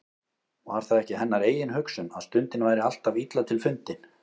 Var það ekki hennar eigin hugsun, að stundin væri alltaf illa til fundin.